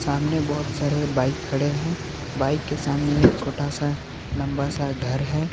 सामने बहुत सारे बाइक खड़े हैं बाइक के सामने एक छोटा सा लंबा सा घर है।